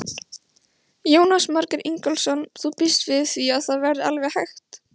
Jónas Margeir Ingólfsson: Þú býst við því að það verði alveg hægt?